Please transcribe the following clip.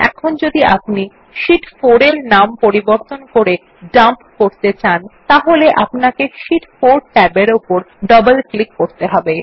ধরুন এখন যদি আপনি শীট 4 এর নাম বদলে ডাম্প করতে চান তাহলে আপনাকে শীট 4 ট্যাবের উপর ডবল ক্লিক করুন